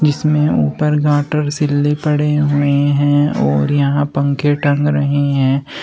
जिसमें ऊपर गाटर सीले पड़े हुए हैं और यहां पंखे टंग रहे हैं।